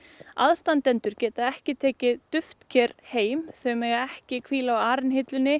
aðstandendur geta ekki tekið duftker heim þau mega ekki hvíla á